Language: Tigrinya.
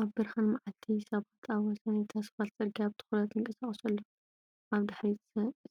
ኣብ ብርሃን መዓልቲ፡ ሰባት ኣብ ወሰን እቲ ኣስፋልት ጽርግያ ብትኹረት ይንቀሳቐሱ ኣለዉ። ኣብ ድሕሪት